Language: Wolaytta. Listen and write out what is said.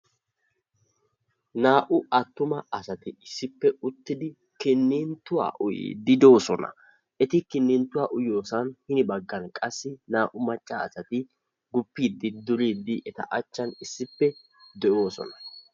naa'u attuma asati issippe uttidi kinituwaa uyiidi doo'oosona. eti kinituwa uyyiyo sohuwan naa'u maccasati gupiidi durid a achan de'oososna.